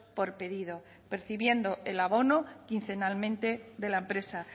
por pedido percibiendo el abono quincenalmente de la empresa